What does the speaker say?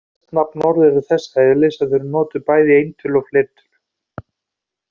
Flest nafnorð eru þess eðlis að þau eru bæði notuð í eintölu og fleirtölu.